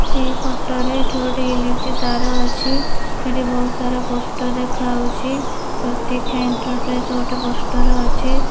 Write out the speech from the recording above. ଏହି ଫଟୋରେ ଏଠି ଗୋଟେ ଇଲେକ୍ଟ୍ରି ତାର ଅଛି ଏଠି ବହୁତ୍ ସାରା ପୋଷ୍ଟର ଦେଖାହୋଉଛି ପ୍ରତିକ୍ଷା ଏଣ୍ଟରପ୍ରାଇଜ୍ ଗୋଟେ ପୋଷ୍ଟର ଅଛି।